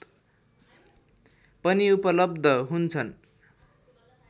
पनि उपलब्ध हुन्छन्